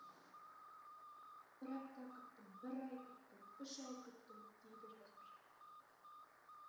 бір апта күттім бір ай күттім үш ай күттім дейді жазушы